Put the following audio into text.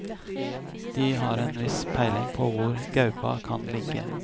De har en viss peiling på hvor gaupa kan ligge.